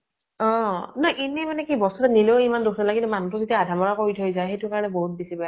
অ । ন এনেই মানে কি বস্তু তো নিলেও এমান দুখ নালাগে, কিন্তু মানুহ তো যেতিয়া আধা মৰা কৰি থৈ যায়, সেইতোকাৰণে বহুত বেছি বেয়া লাগে ।